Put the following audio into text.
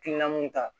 Hakilina mun ta